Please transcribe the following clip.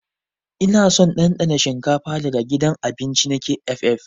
Ina son dandana shinkafa daga gidan abinci na KFF.